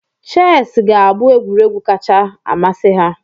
Chess ga-abụ egwuregwu kacha amasị ha.